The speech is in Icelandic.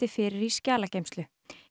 fyrir í skjalageymslu